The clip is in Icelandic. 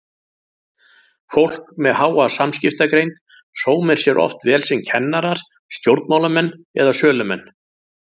Fólk með háa samskiptagreind sómir sér oft vel sem kennarar, stjórnmálamenn eða sölumenn.